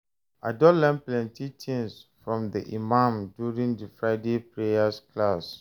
I don learn plenty things from the imam during di Friday prayer class.